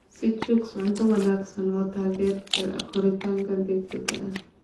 Sii chicks cunto wanaagsan oo taageerta koritaanka degdega ah.